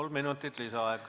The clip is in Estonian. Kolm minutit lisaaega.